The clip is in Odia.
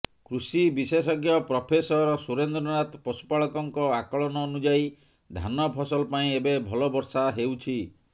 କୃଷି ବିଶେଷଜ୍ଞ ପ୍ରଫେସର ସୁରେନ୍ଦ୍ରନାଥ ପଶୁପାଳକଙ୍କ ଆକଳନ ଅନୁଯାୟୀ ଧାନ ଫସଲ ପାଇଁ ଏବେ ଭଲ ବର୍ଷା ହେଉଛି